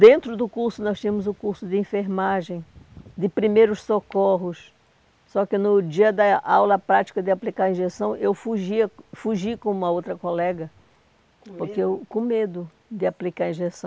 Dentro do curso, nós tínhamos o curso de enfermagem, de primeiros socorros, só que no dia da aula prática de aplicar a injeção, eu fugia fugi com uma outra colega, com medo? porque eu, com medo de aplicar a injeção.